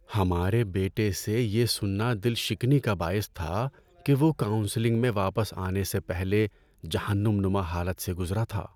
ہمارے بیٹے سے یہ سننا دل شکنی کا باعث تھا کہ وہ کاونسلنگ میں واپس آنے سے پہلے جہنم نما حالت سے گزرا تھا۔